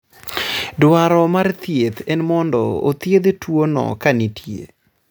dwaro mar thieth en mondo othiedh tuono kanitie